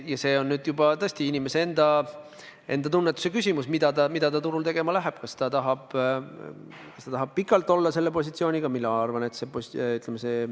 Ja see on nüüd juba tõesti inimese enda tunnetuse küsimus, mida ta turul tegema läheb: kas ta tahab pikalt olla selles positsioonis.